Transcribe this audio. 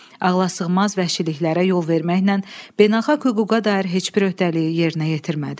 Ağlasığmaz vəhşiliklərə yol verməklə beynəlxalq hüquqa dair heç bir öhdəliyi yerinə yetirmədi.